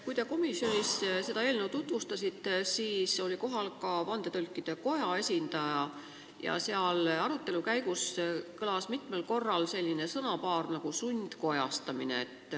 Kui te komisjonis seda eelnõu tutvustasite, siis oli kohal Vandetõlkide Koja esindaja ja arutelu käigus kõlas mitmel korral selline sõna nagu "sundkojastamine".